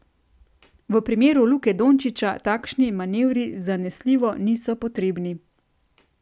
V primeru Luke Dončiča takšni manevri zanesljivo niso potrebni.